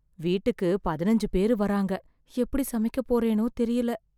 வீட்டுக்கு பதினஞ்சு பேரு வராங்க , எப்படி சமைக்க போறேனோ தெர்ல.